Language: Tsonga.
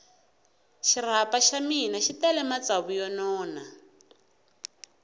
xirapha xa mina xi tele matsavu yo nona